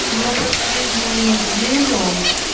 но последнюю неделю